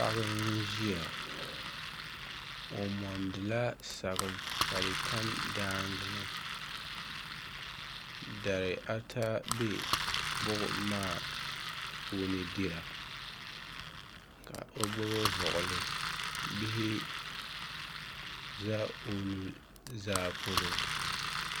Paɣa n ʒia o mondila saɣim ka di tam daanga ni dari ata be buɣum maa puuni dira ka o gbibi vuɣuli bihi za o nuzaa polo.